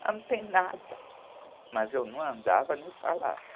Ela não tem nada, mas eu não andava nem falava.